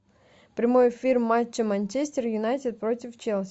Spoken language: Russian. прямой эфир матча манчестер юнайтед против челси